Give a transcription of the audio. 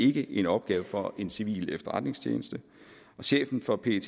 ikke en opgave for en civil efterretningstjeneste chefen for pet